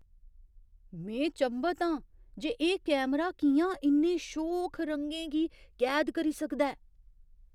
में चंभत आं जे एह् कैमरा कि'यां इन्ने शोख रंगें गी कैद करी सकदा ऐ!